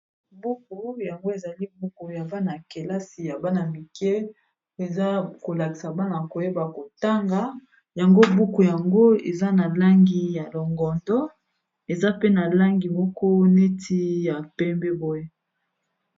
Buku yango ezali buku ya bana-kelasi ya bana mike o eza kolakisa bana koyeba kotanga yango buku yango eza na langi ya longondo eza pe na langi moko neti ya pembe boye.